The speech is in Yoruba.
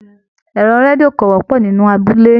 Ẹrọ redio ko wọpọ nínú abúlé.